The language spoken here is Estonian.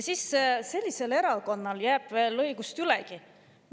Ja sellisel erakonnal jääb veel õigust ülegi!